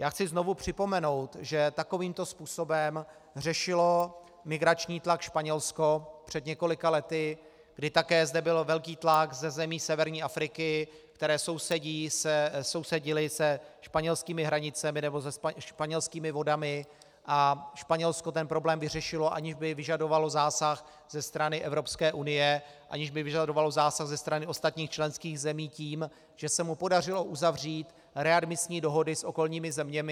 Já chci znovu připomenout, že takovýmto způsobem řešilo migrační tlak Španělsko před několika lety, kdy také zde byl velký tlak ze zemí severní Afriky, které sousedily se španělskými hranicemi nebo se španělskými vodami, a Španělsko ten problém vyřešilo, aniž by vyžadovalo zásah ze strany Evropské unie, aniž by vyžadovalo zásah ze strany ostatních členských zemí, tím, že se mu podařilo uzavřít readmisní dohody s okolními zeměmi.